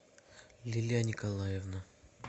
лилия николаевна